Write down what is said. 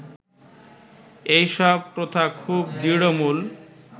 এই সব প্রথা খুব দৃঢ়মূল